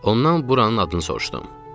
Ondan buranın adını soruşdum.